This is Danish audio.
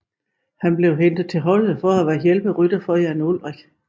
Han blev hentet til holdet for at være hjælperytter for Jan Ullrich